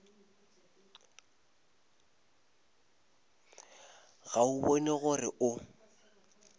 ga o bone gore o